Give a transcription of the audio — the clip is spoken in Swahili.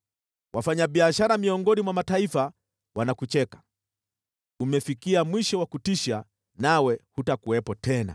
Wafanyabiashara miongoni mwa mataifa wanakucheka; umefikia mwisho wa kutisha nawe hutakuwepo tena.’ ”